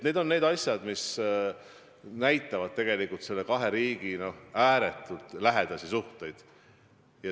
Need on need asjad, mis näitavad nende kahe riigi ääretult lähedasi suhteid.